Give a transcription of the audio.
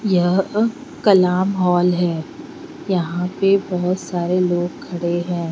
यहाँ पर कलाम हॉल है यहाँ पे बोहोत सारे लोग खड़े है।